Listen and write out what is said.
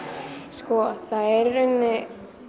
sko það er í rauninni